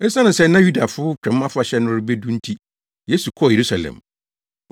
Esiane sɛ na Yudafo Twam Afahyɛ no rebedu nti, Yesu kɔɔ Yerusalem.